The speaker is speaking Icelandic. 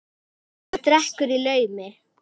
Og drekkur í laumi.